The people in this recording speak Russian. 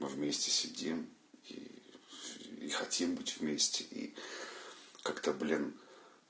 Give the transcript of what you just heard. мы вмести сидим и и хотим быть вместе и как-то блин